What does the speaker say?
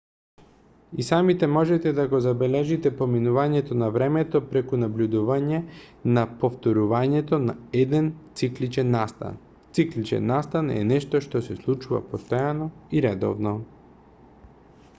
и самите можете да го забележите поминувањето на времето преку набљудување на повторувањето на еден цикличен настан цикличен настан е нешто што се случува постојано и редовно